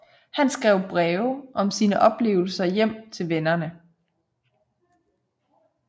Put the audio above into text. Han skrev breve om sine oplevelser hjem til vennerne